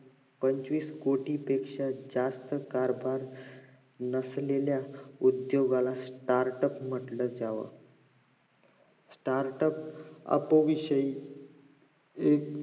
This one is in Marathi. पंचवीस कोटी पेक्षा जास्त कारभार नसलेल्या उद्दोगाला startup म्हंटलं जावं starup अप विषयी एक